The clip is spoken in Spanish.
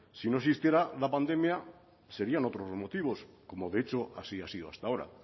si no existiera la pandemia serían otros los motivos como de hecho así ha sido hasta ahora